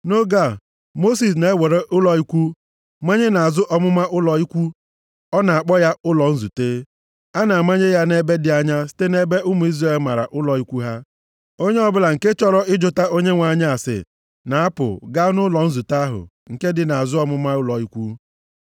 Nʼoge a, Mosis na-ewere ụlọ ikwu manye nʼazụ ọmụma ụlọ ikwu, ọ na-akpọ ya ụlọ nzute. Ọ na-amanye ya nʼebe dị anya site nʼebe ụmụ Izrel mara ụlọ ikwu ha. Onye ọ bụla nke chọrọ ịjụta Onyenwe anyị ase, na-apụ, gaa nʼụlọ nzute ahụ nke dị nʼazụ ọmụma ụlọ ikwu.